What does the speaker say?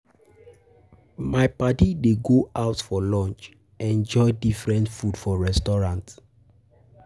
My paddy dey go go out for lunch, enjoy different food for restaurant.